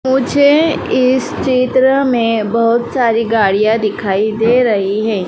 मुझे इस चित्र में बहोत सारी गाड़ियां दिखाई दे रही है।